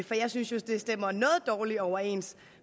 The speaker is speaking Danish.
for jeg synes jo det stemmer noget dårligt overens